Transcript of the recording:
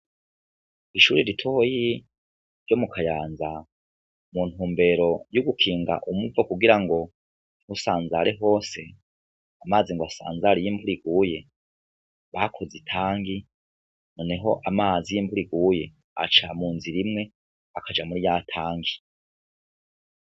Ishuri ritoyi ryo mu Kayanza mu ntumbero y'ugukinga umuvo kugira ngo ntusanzare hose, amazi ngo asanzare iyo imvura iguye, bakoze itangi, noneho amazi y'imvura iguye aca mu nzira imwe akaja muri ya tangi.